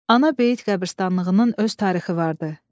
Ana bəyit qəbirstanlığının öz tarixi vardı.